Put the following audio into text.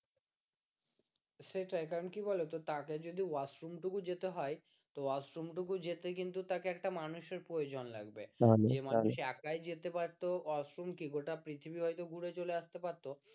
সেটাই কারণ কি বলতো তাকে যদি ওয়াশরুম টুকুও যেতে হয় তো ওয়াশরুম টুকু যেতে কিন্তু তাকে একটা মানুষের প্রয়োজন লাগবে যে মানুষ একা যেতে পারত ওয়াশরুম কি গোটা পৃথিবী হয়তো ঘুরে চলে আসতে পারতো